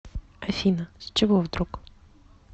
афина с чего вдруг